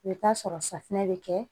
I bɛ taa sɔrɔ safunɛ bɛ kɛ